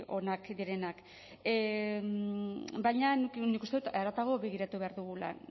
onak direnak baina nik uste dut haratago begiratu behar dugula